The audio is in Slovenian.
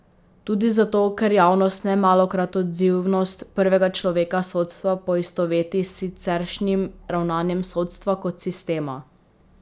Tudi zato, ker javnost nemalokrat odzivnost prvega človeka sodstva poistoveti s siceršnjim ravnanjem sodstva kot sistema.